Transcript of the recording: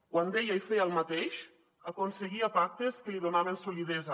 quan deia i feia el mateix aconseguia pactes que li donaven solidesa